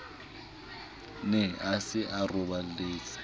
ne a se a roballetse